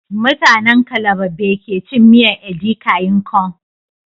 Mutanen calabar be kecin miyan edikan ikong